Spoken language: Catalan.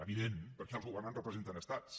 evidentment perquè els governants representen estats